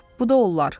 bu da onlar.